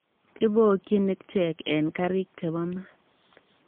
Ibookyin ichek eng karik che bo mat.